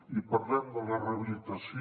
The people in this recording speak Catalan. i parlem de la rehabilitació